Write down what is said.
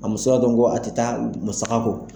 A musaka kɔni kɔ a tɛ taa musakako.